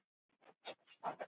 Þetta var Birna.